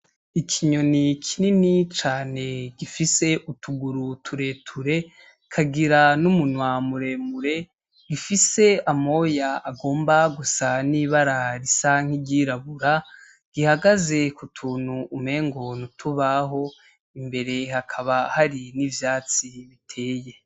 Ikinyoni kinini cane gifise utuguru tureture, kikagira n'umunwa muremure, gifise amoya agomba gusa n'ibara risa n'iryirabura, gihagaze ku tuntu umengo n'utubaho, imbere hakaba hari n'ivyatsi biteye.